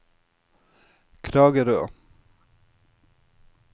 Kragerø